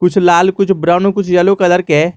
कुछ लाल कुछ ब्राउन कुछ येलो कलर के--